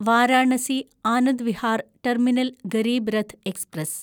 Varanasi Anand Vihar terminal Garib Rath express